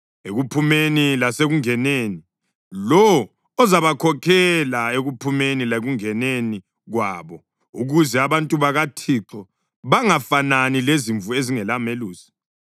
ekuphumeni lasekungeneni, lowo ozabakhokhela ekuphumeni lekungeneni kwabo, ukuze abantu bakaThixo bangafanani lezimvu ezingelamelusi.”